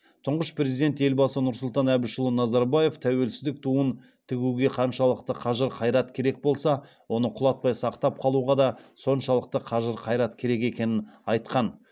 тұңғыш президент елбасы нұрсұлтан әбішұлы назарбаев тәуелсіздік туын тігуге қаншалықты қажыр қайрат керек болса оны құлатпай сақтап қалуға да соншалықты қажыр қайрат керек екенін айтқан